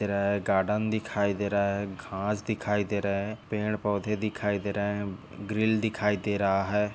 Garden दिखाई दे रहा है घास दिखाई दे रहे है पेड़ पौधे दिखाई दे रहे है ग्रिल दिखाई दे रहा है।